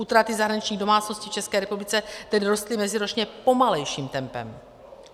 Útraty zahraničních domácností v České republice tedy rostly meziročně pomalejším tempem.